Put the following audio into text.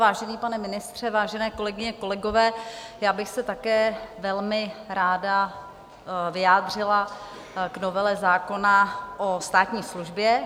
Vážený pane ministře, vážené kolegyně, kolegové, já bych se také velmi ráda vyjádřila k novele zákona o státní službě.